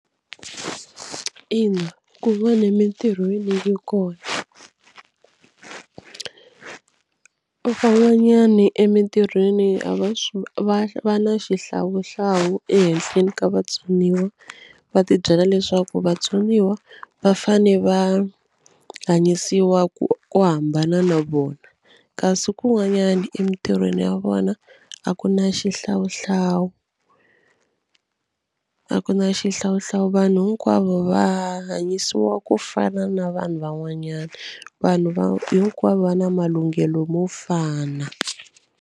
Ina kun'wana emitirhweni yi kona. Van'wanyani emitirhweni a va va va na xihlawuhlawu ehenhleni ka vatsoniwa va tibyela leswaku vatsoniwa va fane va hanyisiwa ku ku hambana na vona kasi kun'wanyani emitirhweni ya vona a ku na xihlawuhlawu a ku na xihlawuhlawu vanhu hinkwavo va hanyisiwa ku fana na vanhu van'wanyana vanhu va hinkwavo va na malunghelo mo fana.